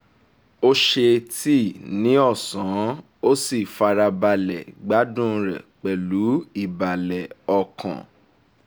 ó ṣe tíì ní ọ̀sán ó sì fara balẹ̀ gbádùn rẹ pẹ̀lú ìbàlẹ̀ ọkàn